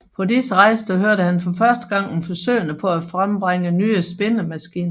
På disse rejser hørte han for første gang om forsøgene på at frembringe nye spindemaskiner